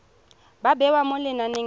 ba bewa mo lenaneng la